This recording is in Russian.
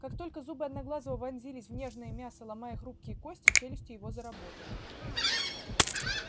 как только зубы одноглазого вонзились в нежное мясо ломая хрупкие кости челюсти его заработали